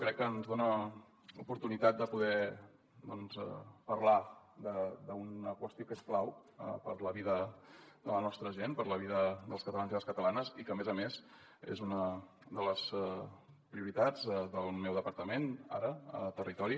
crec que ens dona l’oportunitat de poder doncs parlar d’una qüestió que és clau per a la vida de la nostra gent per a la vida dels catalans i les catalanes i que a més a més és una de les prioritats del meu departament ara a territori